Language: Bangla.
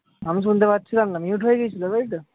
আমি শুনতে পাচ্ছিলাম না। mute হয়ে গেছিলো তাইতো?